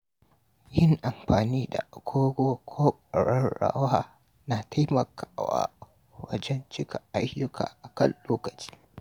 Yin amfani da agogo ko ƙararrawa na taimakawa wajen cika ayyuka akan lokaci.